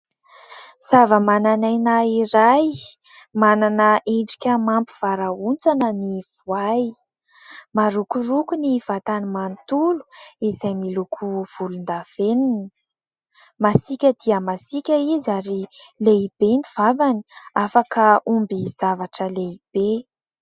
Zava-manan'aina iray manana endrika mampivarahontsana ny voay. Marokoroko ny vatany manontolo izay miloko volondavenina. Masika dia masika izy ary lehibe ny vavany, afaka omby zavatra lehibe.